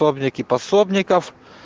пробники пособников